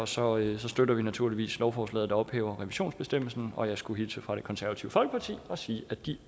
så derfor støtter vi naturligvis lovforslaget der ophæver revisionsbestemmelsen og jeg skulle hilse fra det konservative folkeparti og sige at de